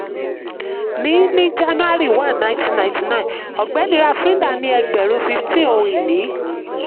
ní ní jan one nineteen ninety-nine ọ̀gbẹ́ni ravrinda ní ẹgbẹ̀rún fifteen ohun ìní.